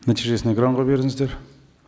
нәтижесін экранға беріңіздер